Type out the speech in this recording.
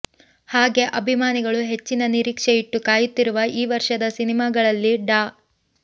ಹಾಗೇ ಅಭಿಮಾನಿಗಳು ಹೆಚ್ಚಿನ ನಿರೀಕ್ಷೆ ಇಟ್ಟು ಕಾಯುತ್ತಿರುವ ಈ ವರ್ಷದ ಸಿನಿಮಾಗಳಲ್ಲಿ ಡಾ